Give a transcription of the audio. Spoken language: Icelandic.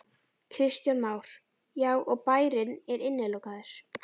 Kristján Már: Já, og bærinn er innilokaður?